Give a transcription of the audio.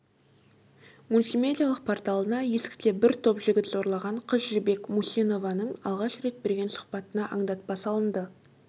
мультимедиалық порталына есікте бір топ жігіт зорлаған қыз жібек мусинованың алғаш рет берген сұхбатына аңдатпа салынды